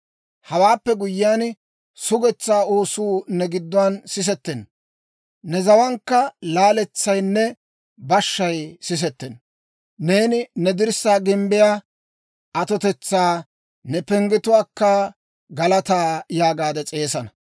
Hawaappe guyyiyaan, sugetsaa oosuu ne gadiyaan sisettenna; ne zawaankka laaletsaynne bashshay sisettenna. Neeni ne dirssaa gimbbiyaa, ‹Atotetsaa› ne penggetuwaakka, ‹Galataa› yaagaade s'eesana.